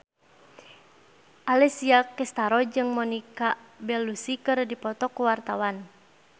Alessia Cestaro jeung Monica Belluci keur dipoto ku wartawan